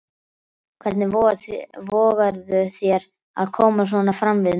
Hvernig vogarðu þér að koma svona fram við mig!